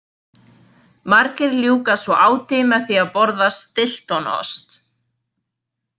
Margir ljúka svo áti með því að borða Stiltonost.